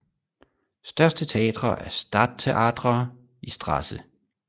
Største teatre er Stadttheater i St